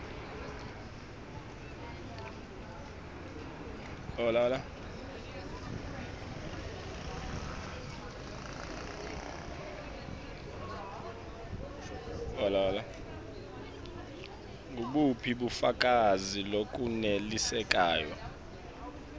ngubuphi bufakazi lobunelisako